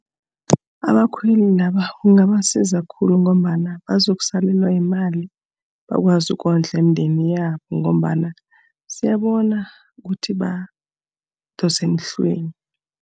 Abakhweli laba kungabasiza khulu ngombana bazokusalelwa yimali, bakwazi ukondla imindeni yabo, ngombana siyabona ukuthi badosa emhlweni.